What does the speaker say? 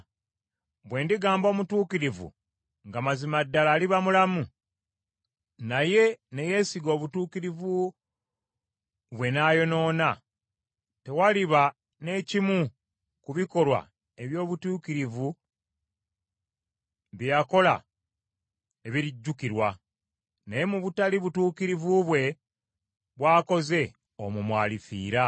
Bwe ndigamba omutuukirivu nga mazima ddala aliba mulamu, naye ne yeesiga obutuukirivu bwe n’ayonoona, tewaliba ne kimu ku bikolwa eby’obutuukirivu bye yakola ebirijjukirwa, naye mu butali butuukirivu bwe bw’akoze omwo mw’alifiira.